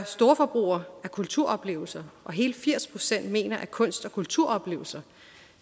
storforbrugere af kulturoplevelser og hele firs procent mener at kunst og kulturoplevelser